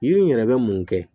Yiri in yɛrɛ bɛ mun kɛ